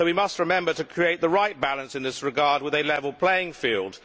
So we must remember to create the right balance in this regard with a level playing field.